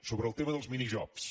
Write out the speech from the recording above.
sobre el tema dels minijobs